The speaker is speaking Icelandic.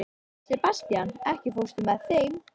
Sebastian, ekki fórstu með þeim?